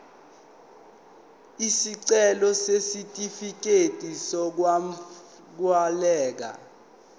isicelo sesitifikedi sokwamukeleka